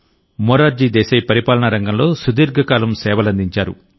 మొరార్జీ దేశాయ్ పరిపాలనారంగంలో సుదీర్ఘకాలం సేవలందించారు